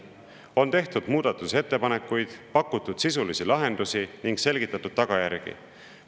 On tehtud muudatusettepanekuid, pakutud sisulisi lahendusi ning selgitatud tagajärgi.